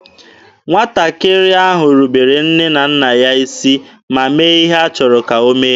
Nwatakịrị ahụ rubere nne na nna ya isi ma mee ihe ha chọrọ ka o mee.